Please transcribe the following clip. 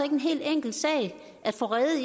en helt enkel sag at få rede